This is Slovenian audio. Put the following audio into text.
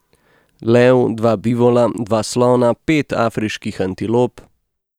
Lev, dva bivola, dva slona, pet afriških antilop ...